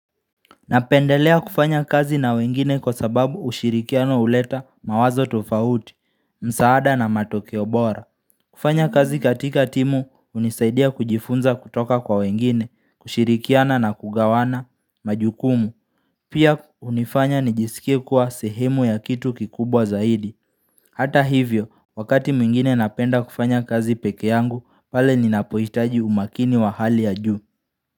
Napendelea kufanya kazi na wengine kwa sababu ushirikiano uleta mawazo tofahuti, msaada na matokeo bora kufanya kazi katika timu, hunisaidia kujifunza kutoka kwa wengine, kushirikiana na kugawana, majukumu Pia unifanya nijisikie kuwa sehemu ya kitu kikubwa zaidi Hata hivyo, wakati mwingine napenda kufanya kazi peke yangu, pale ninapohitaji umakini wa hali ya juu.